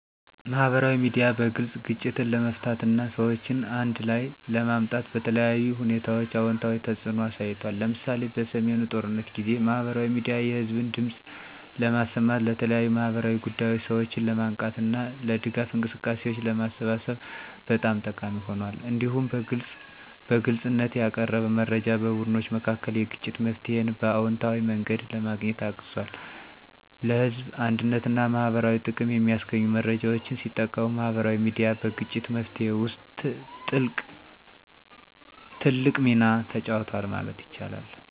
ማህበራዊ ሚዲያ በግልጽ ግጭትን ለመፍታት እና ሰዎችን አንድ ላይ ለማምጣት በተለያዩ ሁኔታዎች አዎንታዊ ተጽዕኖ አሳይቷል። ለምሳሌ፣ በሰሜኑ ጦርነት ጊዜ ማህበራዊ ሚዲያ የህዝብን ድምፅ ለማሰማት፣ ለተለያዩ ማህበራዊ ጉዳዮች ሰዎችን ለማንቃት እና ለድጋፍ እንቅስቃሴዎች ለማሰባሰብ በጣም ጠቃሚ ሆኗል። እንዲሁም በግልጽነት ያቀረበ መረጃ በቡድኖች መካከል የግጭት መፍትሄን በአዎንታዊ መንገድ ለማግኘት አግዟል። ለህዝብ አንድነትና ማህበረሰባዊ ጥቅም የሚያስገኙ መረጃዎችን ሲጠቀሙ ማህበራዊ ሚዲያ በግጭት መፍትሄ ውስጥ ትልቅ ሚና ተጫውቷል ማለት ይቻላል።